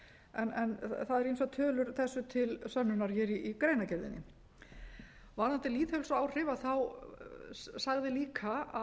en það eru ýmsar tölur þessu til sönnunar í greinargerðinni varðandi lýðheilsuáhrif sagði líka